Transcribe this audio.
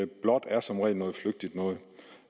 blåt er som regel noget flygtigt noget